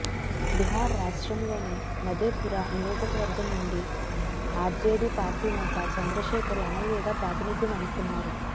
బిహార్ రాష్ట్రంలోని మధేపురా నియోజకవర్గం నుండి ఆర్జేడి పార్టీ నేత చంద్రశేఖర్ ఎమ్మెల్యేగా ప్రాతినిధ్యం వహిస్తున్నారు